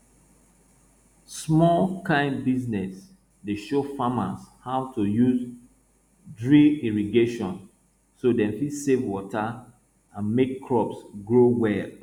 small kain business dey show farmers how to use drip irrigation so dem fit save water and make crops grow well